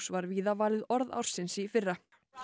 var víða valið orð ársins í fyrra